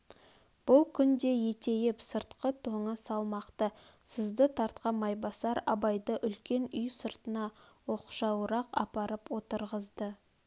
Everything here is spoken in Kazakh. бұл күнде етейп сыртқы тоңы салмақты сызды тартқан майбасар абайды үлкен үй сыртына оқшауырақ апарып отырғызды